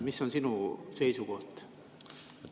Mis on sinu seisukoht?